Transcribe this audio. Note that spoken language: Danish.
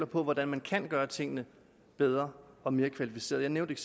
på hvordan man kan gøre tingene bedre og mere kvalificeret jeg nævnte